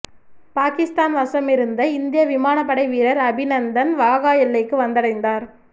பாகிஸ்தான் வசமிருந்த இந்திய விமானப்படை வீரர் அபிநந்தன் வாகா எல்லைக்கு வந்தடைந்தார்